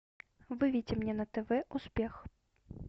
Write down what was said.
выведи мне на тв успех